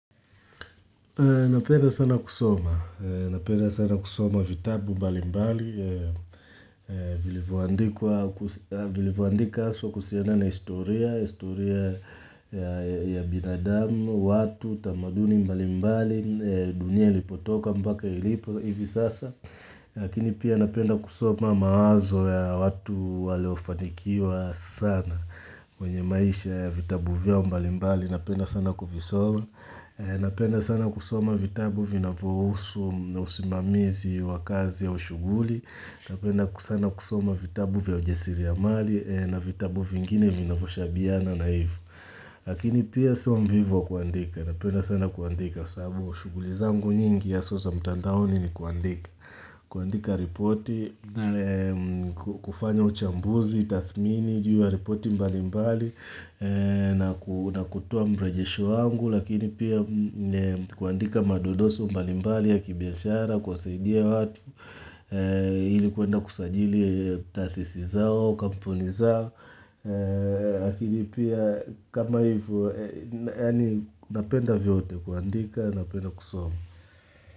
Napenda sana kusoma, napenda sana kusoma vitabu mbali mbali, vilivoandika aswa kuhusiana na historia, historia ya binadamu, watu, tamaduni mbali mbali, dunia lipotoka mbaka ilipo hivi sasa. Lakini pia napenda kusoma mawazo ya watu waleofanikiwa sana kwenye maisha ya vitabu vyao mbalimbali napenda sana kuvisoma Napenda sana kusoma vitabu vinavo husu usimamizi wakazi ya ushuguli Napenda sana kusoma vitabu vya ujesiri ya mali na vitabu vingine vinavoshabiana naivu Lakini pia so mvivu wakuandika napenda sana kuandika sabu ushugulizangu nyingi haswa za mtandaoni ni kuandika kuandika ripoti, kufanya uchambuzi, tathmini, juu ya ripoti mbali mbali na kutuoa mrejesho wangu, lakini pia kuandika madodoso mbali mbali ya kibiashara, kuwasaidia watu, ilikuenda kusajili taasisi zao, kampuni zao, lakini pia kama hivo, yani napenda vyote kuandika, napenda kusoma.